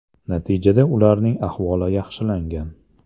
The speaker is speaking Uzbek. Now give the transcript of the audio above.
Natijada ularning ahvoli yaxshilangan.